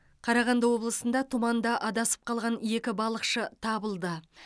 қарағанды облысында тұманда адасып қалған екі балықшы табылды